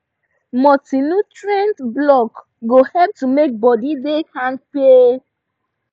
multinutrient blocks go help to make body da kampe